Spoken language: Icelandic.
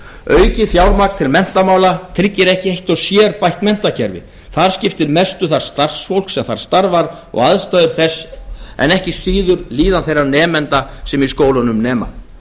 aukið fjármagn til menntamála tryggir ekki eitt og sér bætt menntakerfi þar skiptir mestu það starfsfólk sem þar starfar og aðstæður þess en ekki síður líðan þeirra nemenda sem í skólunum nema